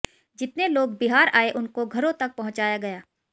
जितने लोग बिहार आए उनको घरों तक पहुंचाया गया